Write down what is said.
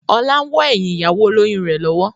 Ọlá wọ́ ẹyin ìyàwó olóyun rẹ lọ́wọ́.